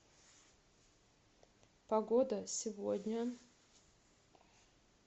погода сегодня